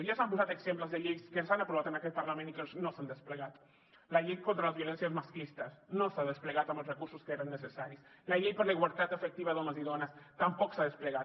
ja s’han posat exemples de lleis que s’han aprovat en aquest parlament i que no s’han desplegat la llei contra les violències masclistes no s’ha desplegat amb els recursos que eren necessaris la llei per a la igualtat efectiva d’homes i dones tampoc s’ha desplegat